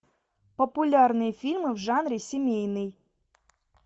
популярные фильмы в жанре семейный